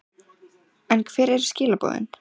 En hver eru skilaboðin?